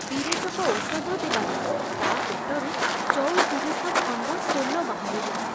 ବିରେଚକ ଔଷଧ ଦେବାରୁ ତା ପେଟରୁ ଚଉତିରିଶ ଖଣ୍ଡ ସୋଲ ବାହାରିଲା।